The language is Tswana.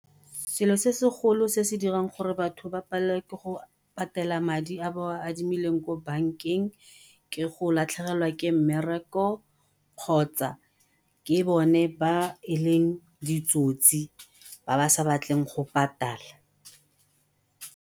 Selo se se golo se se dirang gore batho ba palelwe ke go patela madi a ba a adimileng ko bankeng ke go latlhegelwa ke mmereko kgotsa ke bone ba e leng ditsotsi ba ba sa batleng go patala.